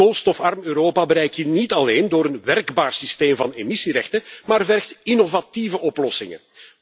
Een koolstofarm Europa bereik je niet alleen door een werkbaar systeem van emissierechten, maar vergt ook innovatieve oplossingen.